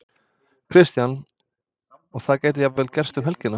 Kristján: Og það gæti jafnvel gerst um helgina?